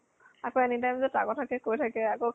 আকৌ anytime যে তাৰ কথা কে কৈ থাকে । আকৌ